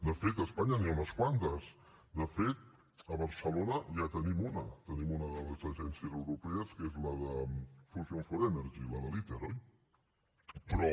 de fet a espanya n’hi ha unes quantes de fet a barcelona ja en tenim una tenim una de les agències europees que és la de fusion for energy la de l’iter oi però